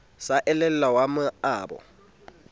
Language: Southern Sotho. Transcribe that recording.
sa le elwa wa maoba